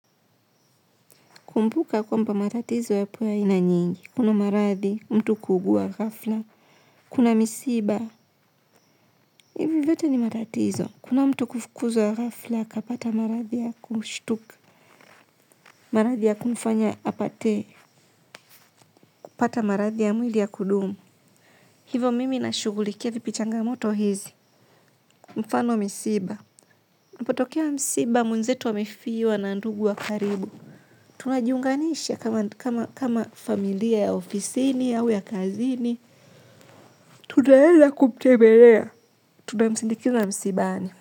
Kumbuka kwamba matatizo yapo aina mingi kuna maradi mtu kuugua ghafla. Kuna misiba. Ivi vyote ni matatizo. Kuna mtu kufukuzuwa ghafla kapata marathi ya kumstuka. Marathi ya kumfanya apate. Kupata marathi ya mwili ya kudumu. Hivo mimi nashugulikia vipi changamoto hizi. Mfano misiba. Napotokea misiba mwenzetu amefiwa na ndugu wa karibu. Tunajiunganisha kama familia ya ofisini au ya kazini. Tudaenda kumtembelea. Tunamsindikiza msibani.